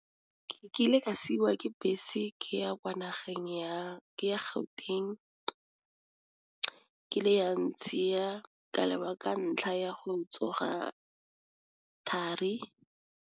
Ke kile ka siwa ke bese ke ya Gauteng, kile ya ntshiya ka ntlha ya go tsoga thari.